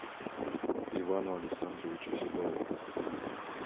ивану александровичу седову